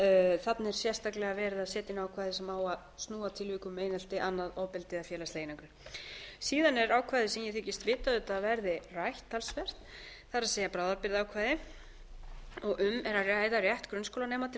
er þarna er sérstaklega verið að setja inn ákvæði sem á að snúa að tilvikum um einelti eða annað ofbeldi eða félagslega einangrun síðan er ákvæði sem ég þykist vita auðvitað að verði rætt talsvert það er bráðabirgðaákvæði og um er að ræða rétt grunnskólanema til að